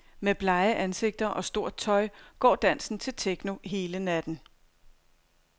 Med blege ansigter og stort tøj går dansen til techno hele natten.